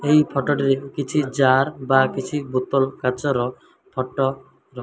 ଏହି ଫଟ ଟିରେ କିଛି ଜାର ବା କିଛି ବୋତଲ କାଚ ରଫଟ ର --